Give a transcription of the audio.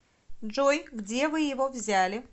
джой где вы его взяли